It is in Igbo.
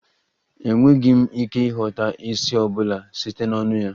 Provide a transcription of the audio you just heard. Enweghị m ike ịghọta ísì ọ bụla site n'ọnụ ya